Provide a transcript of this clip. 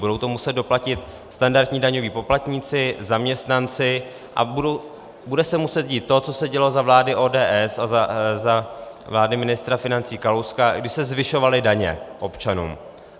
Budou to muset doplatit standardní daňoví poplatníci, zaměstnanci a bude se muset dít to, co se dělo za vlády ODS a za vlády ministra financí Kalouska, kdy se zvyšovaly daně občanům.